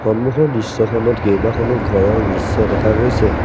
সন্মুখৰ দৃশ্যখনত কেইবাখনো ঘৰৰ দৃশ্য দেখা গৈছে।